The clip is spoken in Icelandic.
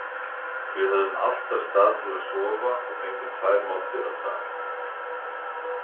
Við höfðum alltaf stað til að sofa og fengum tvær máltíðir á dag.